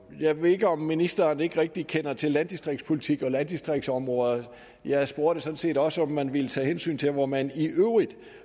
jeg ved ikke om ministeren ikke rigtig kender til landdistriktspolitik og landdistriktsområder jeg spurgte sådan set også om man ville tage hensyn til hvor man i øvrigt